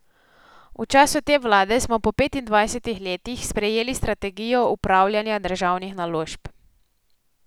V času te vlade smo po petindvajsetih letih sprejeli strategijo upravljanja državnih naložb.